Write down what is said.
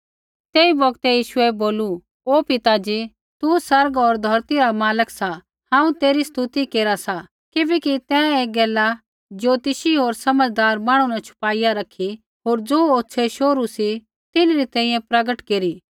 तेई बौगतै यीशुऐ बोलू ओ पिता ज़ी तू आसमान होर धौरती रा मालक सा हांऊँ तेरी स्तुति केरा सा किबैकि तैं ऐ गैला ज्योतिषी होर समझदार मांहणु न छुपाईया रैखी होर ज़ो होछे़ शोहरू सी तिन्हरी तैंईंयैं प्रगट केरी